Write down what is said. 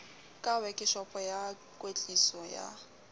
ka wekeshopo ya klwetliso ya